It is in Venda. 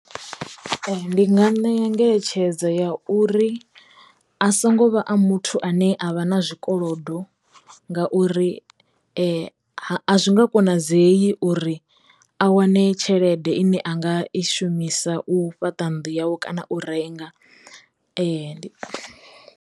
Ndi nga ṋea ngeletshedzo ya uri a songo vha a muthu ane a vha na zwikolodo ngauri a zwi nga konadzeyi uri a wane tshelede ine a nga i shumisa u fhaṱa nnḓu yau kana u renga .